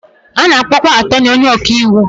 A na-akpọkwa atọnị onye ọkàiwu